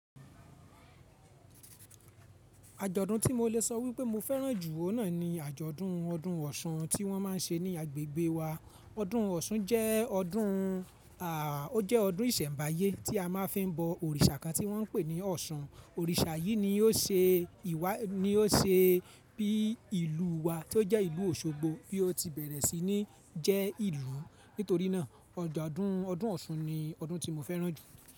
Àjọ̀dún tí mo lè sọ wípé mo fẹ́ràn jù ọ́n náà ni àjọ̀dún ọdún Ọ̀ṣun tí wọ́n má ń ṣe ní agbègbè wa. Ọdún Ọ̀ṣun jẹ́ ọdún, ó jẹ́ ọdún ìsẹ̀mbáyé tí a máa fi ń bọ òrìṣà kan tí wọ́n ń pè ní Ọ̀ṣun. Òrìṣà yìí ni ó ṣe ìwà, ni ó ṣe bí ìlú wa tí ó jẹ́ ìlú Òṣogbo bí ó ti bẹ̀rẹ̀ sí ní jẹ́ ìlú. Nítorí náà, àjọ̀dún ọdún Ọ̀ṣun ni ọdún tí mo fẹ́ràn jù.